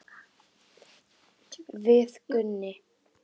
Við Gunni.